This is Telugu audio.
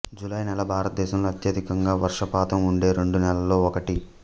జూలై నెల భారతదేశంలో అత్యధికంగా వర్షపాతం ఉండే రెండు నెలల్లో ఒకటి